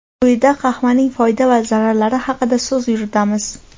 Quyida qahvaning foyda va zararlari haqida so‘z yuritamiz.